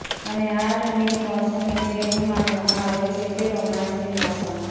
અને આ ઠંડીની મૌસમ એટલે એવું માનવમાં આવે છે કે રોમાંસની મૌસમ